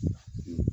Sanunɛgɛnin yo wa